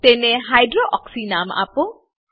તેને હાઇડ્રોક્સી નામ આપો